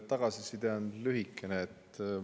Tagasiside on lühikene.